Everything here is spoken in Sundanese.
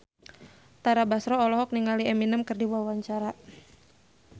Tara Basro olohok ningali Eminem keur diwawancara